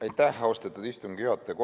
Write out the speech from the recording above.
Aitäh, austatud istungi juhataja!